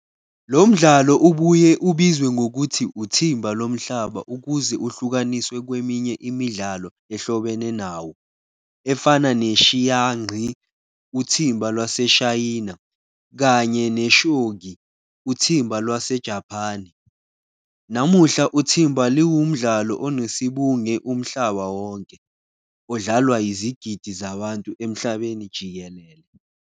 Lomdlalo ubuye ubizwe ngokuthi uthimba lomhlaba ukuze uhlukaniswe kweminye imidlalo ehlobene nawo, efana ne-"xiangqi, uthimba lwaseShayina" kanye ne-"shogi, uthimba lwaseJaphani". Namuhla uthimba liwumdlalo onesibunge umhlaba wonke, odlalwa izigidi zabantu emhlabeni jikelele.